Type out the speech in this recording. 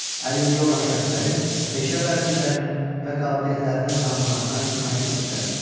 Əlilliyi olan şəxslərin peşə vərdişlərinin və qabiliyyətlərinin tanınmasına köməklik göstərilməsi.